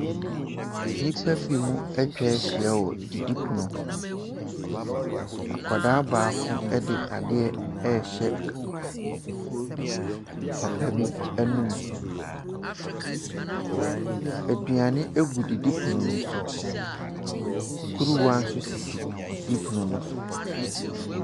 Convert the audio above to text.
Nnipa binom atwa ahyia wɔ didipono ho. Akwadaa baako de adeɛ rehyɛ papa bi anom. Aduane agu didipono no so. Kuruwa nso sisi didipono no so.